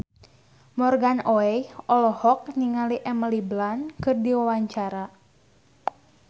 Morgan Oey olohok ningali Emily Blunt keur diwawancara